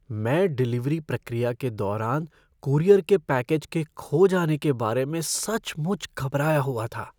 मैं डिलीवरी प्रक्रिया के दौरान कूरियर के पैकेज के खो जाने के बारे में सचमुच घबराया हुआ था।